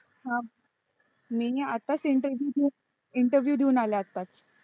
हा मी आत्ताच interview interview देऊन आले आत्ताच